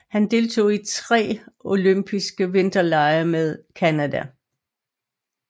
Han deltog i tre olympiske vinterlege med Canada